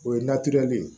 O ye ye